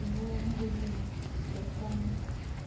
в магазинах то есть там